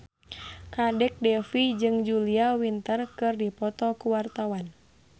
Kadek Devi jeung Julia Winter keur dipoto ku wartawan